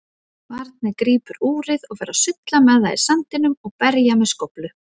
Barnið grípur úrið og fer að sulla með það í sandinum og berja með skóflu.